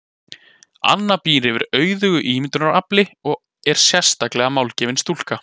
Anna býr yfir auðugu ímyndunarafli og er sérlega málgefin stúlka.